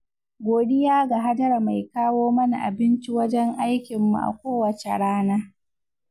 godiya ga Hajara mai kawo mana abinci wajen aikinmu a kowace rana.